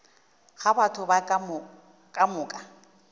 ga batho ba ka moka